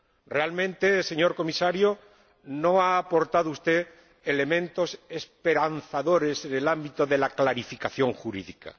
Realmente, señor Comisario, no ha aportado usted elementos esperanzadores en el ámbito de la clarificación jurídica.